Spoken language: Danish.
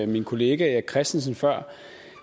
min kollega erik christensen